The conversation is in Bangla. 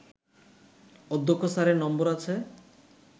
অধ্যক্ষ স্যারের নম্বর আছে